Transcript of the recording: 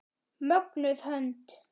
Mögnuð hönd.